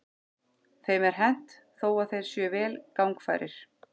Þeim er hent þó að þeir séu vel gangfærir.